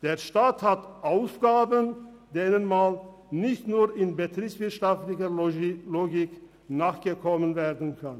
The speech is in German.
Der Staat hat Aufgaben, denen nun mal nicht nur mit betriebswirtschaftlicher Logik nachgekommen werden kann!